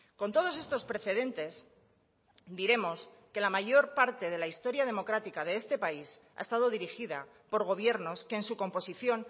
con todos estos precedentes diremos que la mayor parte de la historia democrática de este país ha estado dirigida por gobiernos que en su composición